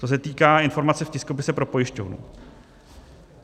To se týká informace v tiskopise pro pojišťovnu.